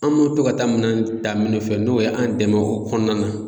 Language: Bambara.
An me to ka taa minɛnw ta minnu fɛ n'o ye an dɛmɛ o kɔnɔna na